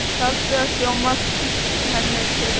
Taktu ekki mark á henni, segir Agnes.